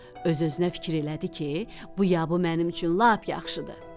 Öz-özünə fikir elədi ki, bu ya bu mənim üçün lap yaxşıdır.